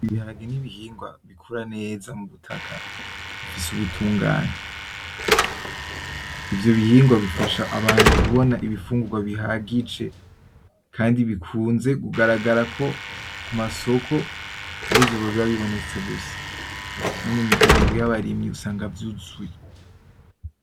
Ibiharage n’ibihingwa bikura neza mu butaka bufise ubutungane. Ivyo bihingwa bifasha abantu kubona ibifungurwa bihagije kandi bikunze kugaragara ko, ku masoko arivyo biba bibonetse gusa no mu miryango y’abarimyi biba vyuzuye.